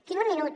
tinc un minut